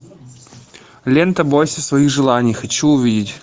лента бойся своих желаний хочу увидеть